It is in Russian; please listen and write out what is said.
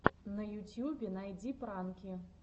на ютюбе найди пранки